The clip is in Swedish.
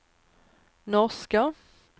norska